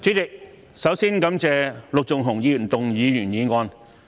主席，首先感謝陸頌雄議員動議原議案。